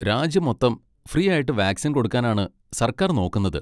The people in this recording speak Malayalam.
രാജ്യം മൊത്തം ഫ്രീ ആയിട്ട് വാക്സിൻ കൊടുക്കാനാണ് സർക്കാർ നോക്കുന്നത്.